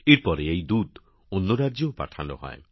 এর পরে এই দুধ অন্য রাজ্যেও পাঠানো হয়